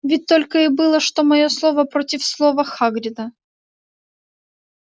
ведь только и было что моё слово против слова хагрида